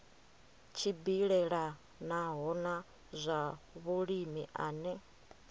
tshimbilelanaho na zwa vhulimi ane